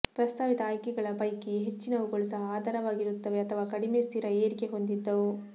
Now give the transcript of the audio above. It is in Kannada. ಪ್ರಸ್ತಾವಿತ ಆಯ್ಕೆಗಳ ಪೈಕಿ ಹೆಚ್ಚಿನವುಗಳು ಸಹ ಆಧಾರವಾಗಿರುತ್ತವೆ ಅಥವಾ ಕಡಿಮೆ ಸ್ಥಿರ ಏರಿಕೆ ಹೊಂದಿದ್ದವು